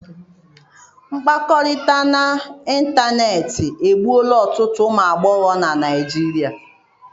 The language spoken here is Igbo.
Mkpakọrịta n'ịntanetị egbuola ọtụtụ ụmụ agbọghọ na Nigeria.